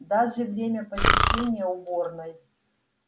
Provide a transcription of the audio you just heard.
даже время посещения уборной